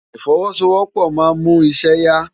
Ifòwòsówòpò má n mú iṣè yá